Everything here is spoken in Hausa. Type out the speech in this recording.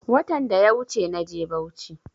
Watan daya wuche naje bauchi